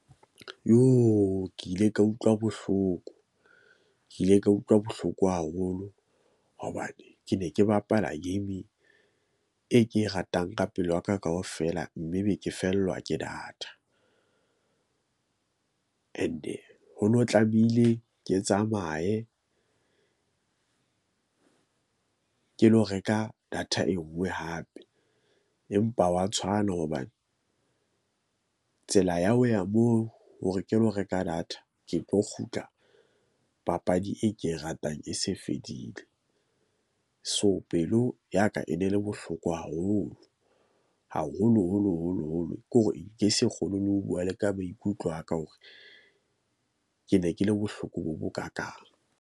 Joo ke ile ka utlwa bohloko. Ke ile ka utlwa bohloko haholo hobane ke ne ke bapala game e ke e ratang ka pelo ya ka kaofela, mme be ke fellwa ke data. And-e ho no tlamehile ke tsamaye ke lo reka data e nngwe hape, empa wa tshwana hobane, tsela ya ho ya moo hore ke lo reka data. Ke tlo kgutla papadi e ke e ratang e se fedile. So, pelo ya ka e e ne le bohloko haholo haholo holo holo holo, ke hore ke nke se kgone le ho bua le ka maikutlo a ka hore ke ne ke le bohloko bo bo kakang.